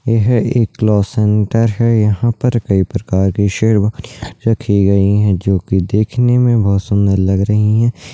यह एक cloth centre है यहाँ पर कई प्रकार की शेरवानियाँ रखी गई हैं जो की देखने में बहोत सुंदर लग रही हैं।